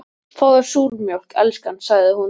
Fáðu þér súrmjólk, elskan, sagði hún.